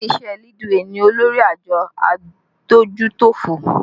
Ilé iṣẹ́ Leadway ni olórí àjọ adójútòfò